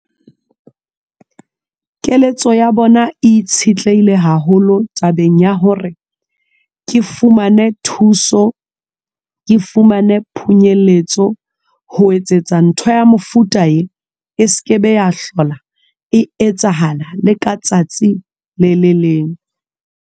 Keletso ya bona itshetlehile haholo tabeng ya hore ke fumane thuso. Ke fumane phunyelletso ho etsetsa ntho ya mofuta e e sekebe ya hlola e etsahala le ka tsatsi le le leng.